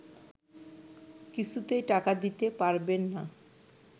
কিছুতেই টাকা দিতে পারবেন না